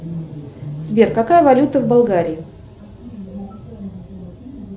сбер какая валюта в болгарии